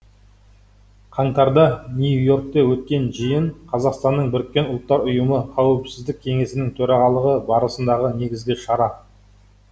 қаңтарда нью и оркте өткен жиын қазақстанның біріккен ұлттар ұйымы қауіпсіздік кеңесінің төрағалығы барысындағы негізгі шара